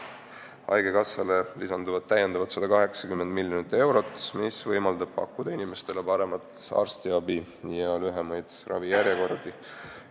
Haigekassale lisandub täiendavalt 180 miljonit eurot, mis võimaldab pakkuda inimestele paremat arstiabi ja lühemaid ravijärjekordi.